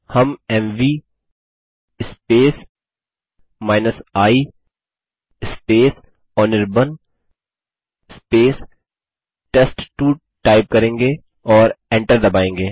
हम MV i Anirban test two type करेंगे और एंटर दबायेंगे